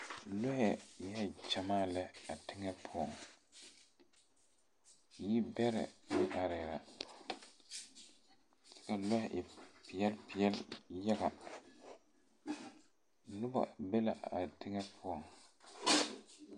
Lɔɛ biŋee gyamaa lɛ a teŋɛ poɔŋ nii bɛrɛ areɛɛ la kyɛ ka lɔɛ e peɛɛl peɛɛl yaga nobɔ be la a teŋɛ poɔŋ.